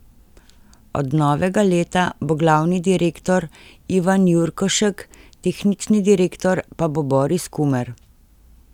Od novega leta bo glavni direktor Ivan Jurkošek, tehnični direktor pa bo Boris Kumer.